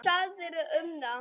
Hvað segirðu um það?